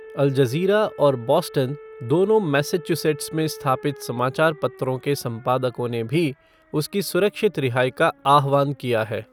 अल Jazeera और Boston, दोनों Massachusetts में स्थापित समाचार पत्रों के संपादकों ने भी उसकी सुरक्षित रिहाई का आह्वान किया है।